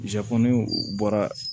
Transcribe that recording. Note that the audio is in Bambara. ni u bɔra